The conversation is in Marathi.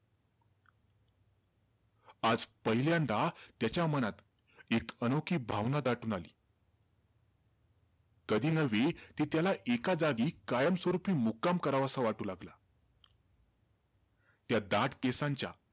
आज पहिल्यांदा त्याच्या मनात एक अनोखी भावना दाटून आली. कधी नव्हे, ते त्याला एका जागी कायम स्वरूपी मुक्काम करावासा वाटू लागला. त्या दाट केसांच्या,